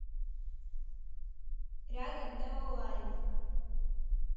рядом неолайн